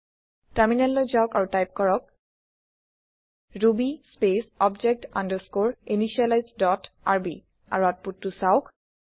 টাৰমিনেললৈ যাওক আৰু টাইপ কৰক Ruby space object underscore initialise dot rb আৰু আওতপুতটো চাওঁক